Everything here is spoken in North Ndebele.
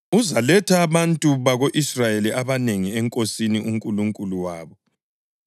Uzaletha abantu bako-Israyeli abanengi eNkosini uNkulunkulu wabo.